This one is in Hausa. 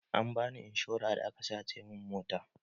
Ambani inshora da aka sace min mota